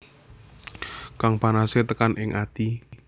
Kang panase tekan ing ati